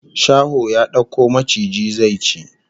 Shaho ya dauko maciji zai ci